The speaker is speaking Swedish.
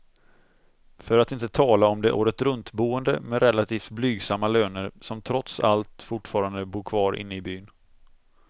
För att inte tala om de åretruntboende med relativt blygsamma löner, som trots allt fortfarande bor kvar inne i byn.